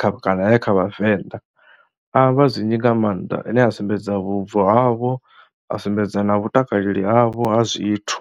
kha kana ya kha Vhavenḓa. A amba zwinzhi nga maanḓa, ane a sumbedza vhubvo havho, a sumbedza na vhutakaleli havho ha zwithu.